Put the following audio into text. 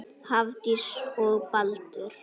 Hafdís og Baldur.